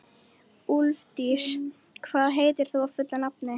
Úlfdís, hvað heitir þú fullu nafni?